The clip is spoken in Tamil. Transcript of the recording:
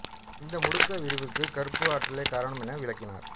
இந்த முடுக்க விரிவுக்கு கருப்பு ஆற்றலே காரணம் என விளக்கினர்